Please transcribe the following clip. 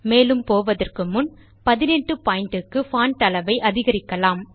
மேலும் போவதற்கு முன் 18 pointக்கு பான்ட் அளவை அதிகரிக்கலாம்